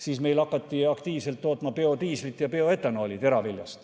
Siis hakati meil teraviljast aktiivselt biodiislit ja bioetanooli tootma.